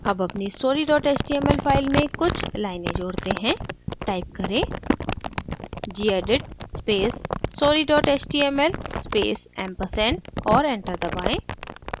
add अपनी story html file में कुछ लाइनें जोड़ते हैं type करें gedit space story html space ampersand और enter दबाएँ